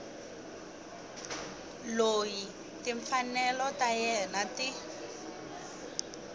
loyi timfanelo ta yena ti